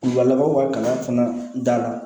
labanw ka kalan fana da la